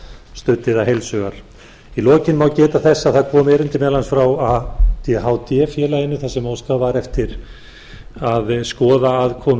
studdi það heils hugar í lokin má geta þess að það kom erindi meðal annars frá adhd félaginu þar sem óskað var eftir að skoða aðkomu